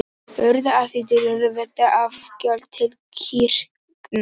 Urðu af því deilur vegna afgjalda til kirkna.